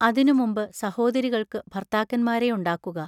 അതിനു മുമ്പ് സഹോദരികൾക്കു ഭർത്താക്കന്മാരെയുണ്ടാക്കുക.